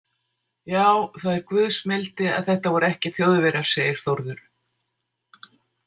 Já, það er guðs mildi að þetta voru ekki Þjóðverjar, segir Þórður.